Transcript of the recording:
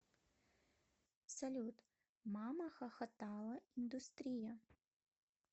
салют мамахохотала индустрия